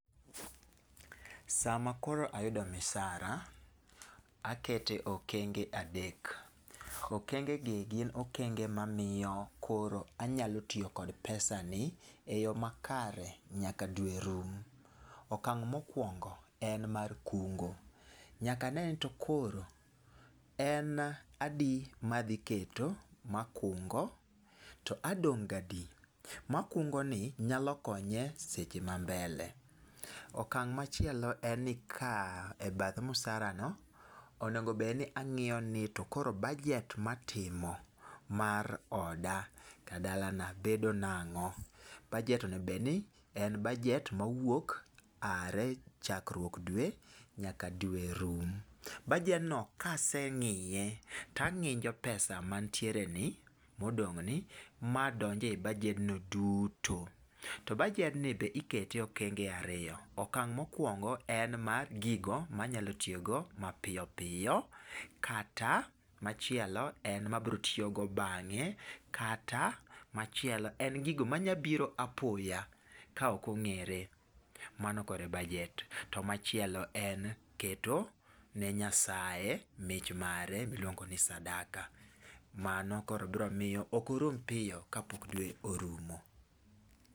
Sama koro ayudo misara, akete okenge adek. Okenge gi gin okenge mamiyo koro anylo tiyo kod pesa ni e yo makare nyaka dwe rum. Okang' mokwongo en mar kungo. Nyaka ne ni to koro en adi madhiketo makungo to adong' gadi? Makungo ni nyalo konye seche ma mbele. Okang' machielo en ni ka ebath msarano, onegobedni ang'iyo ni to koro bajet matimo mar oda kata dalana bedo nang'o? Bajet onegobedni en bajet mawuok are chakruok dwe nyaka dwe rum. Bajedno kaseng'iye tang'injo pesa mantiere ni modong' ni, madonje bajedno duto. To bajedni be ikete e okenge ariyo. Okang' mokwongo en mar gigo manyalo tiyogo mapiyo piyo. Kata machielo en mabrotiyogo bang'e kata machielo en gigo manyabiro apoya ka okong'ere. Mano korebajet. To machiel en keto ne Nyasaye mich mare miluongo ni sadaka. Mano koro bro miyo okorum piyo kapok dwe orumo.